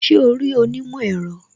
Ṣé o rí onímọ̀ èro